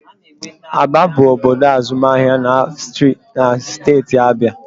Aba bụ obodo azụmahịa na steeti Abịa